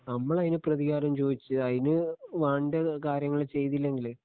നമ്മളതിന് പ്രതികാരം ചോദിച്ച് അതിന് വേണ്ട കാര്യങ്ങള് ചെയ്തില്ലെങ്കില്